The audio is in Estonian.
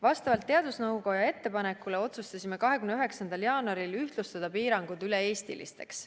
Vastavalt teadusnõukoja ettepanekule otsustasime 29. jaanuaril ühtlustada piirangud üle-eestilisteks.